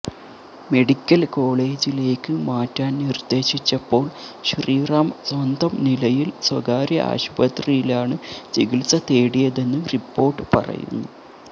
medical കോളേജിലേക്ക് മാറ്റാന് നിര്ദേശിച്ചപ്പോള് ശ്രീറാം സ്വന്തം നിലയില് സ്വകാര്യ ആശുപത്രിയിലാണ് ചികിത്സ തേടിയതെന്ന് റിപ്പോര്ട്ട് പറയുന്നു